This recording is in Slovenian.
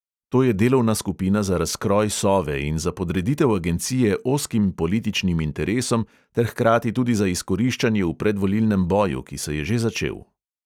To je delovna skupina za razkroj sove in za podreditev agencije ozkim političnim interesom ter hkrati tudi za izkoriščanje v predvolilnem boju, ki se je že začel.